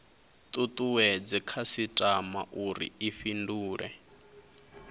tutuwedze khasitama uri i fhindule